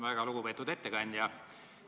Väga lugupeetud ettekandja!